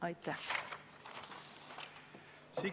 Aitäh!